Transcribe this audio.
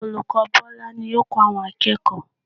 Olùkọ́ Bọ́lá ni yóò kọ́ àwọn akẹ́kọ̀ọ́